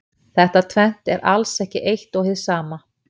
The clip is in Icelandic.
Þetta tvennt er alls ekki eitt og hið sama.